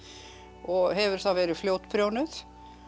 og hefur þá verið fljótprjónuð